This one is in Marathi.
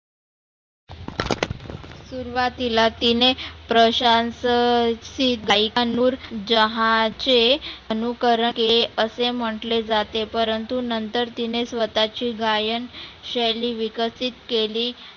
सुरुवातीला तीने प्रशांस आनुर जहाचे अनुकर केले असे म्हटले जाते. परंतु नंतर तीने स्वतः चे गायन शैली विकसीत केली